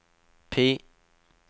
PIE